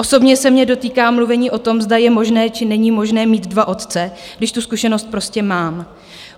Osobně se mě dotýká mluvení o tom, zda je možné či není možné mít dva otce, když tu zkušenost prostě mám.